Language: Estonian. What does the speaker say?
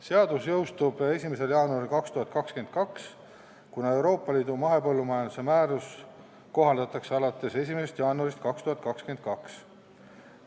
Seadus jõustub 1. jaanuaril 2022, kuna Euroopa Liidu mahepõllumajanduse määrust kohaldatakse alates 1. jaanuarist 2022.